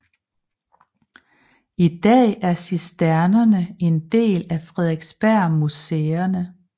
I dag er Cisternerne en del af Frederiksbergmuseerne